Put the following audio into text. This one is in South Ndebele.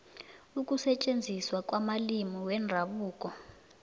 ukusetjenziswa kwamalimi wendabuko